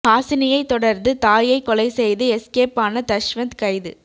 ஹாசினியை தொடர்ந்து தாயை கொலை செய்து எஸ்கேப் ஆன தஷ்வந்த் கைது